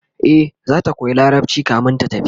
e zata koya larabci kamin ta tafi